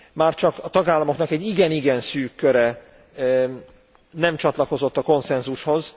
Már csak a tagállamoknak egy igen igen szűk köre nem csatlakozott a konszenzushoz.